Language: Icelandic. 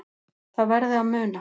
Það verði að muna